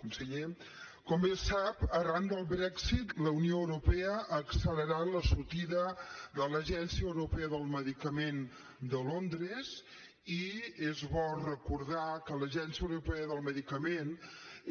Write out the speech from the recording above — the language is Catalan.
conseller com bé sap arran del brexit la unió europea ha accelerat la sortida de l’agència europea del medicament de londres i és bo recordar que l’agència europea del medicament